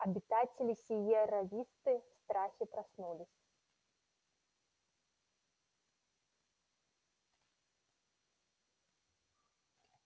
обитатели сиерра висты в страхе проснулись